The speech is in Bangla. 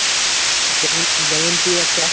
যেমন যেমন তুই একটা